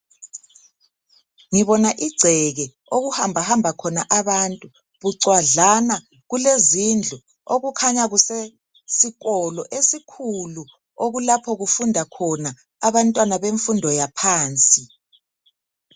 Ngibona igceke okuhamba hamba khona abantu bucwadlana kulezindlu okukhanya kusesikolo esikhulu okulapho kufunda khona abantwana bemfundo yaphansi.